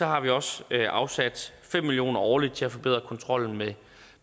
har vi også afsat fem million kroner årligt til at forbedre kontrollen med